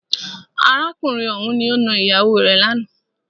Arákùnrin ọ̀hùn ni o nà ìyàwó rè lánàá.